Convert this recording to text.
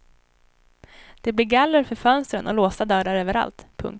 Det blir galler för fönstren och låsta dörrar överallt. punkt